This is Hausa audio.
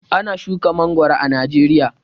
Ana shuka mangoro a Najeriya.